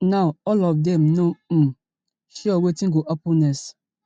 now all of dem no um sure wetin go happun next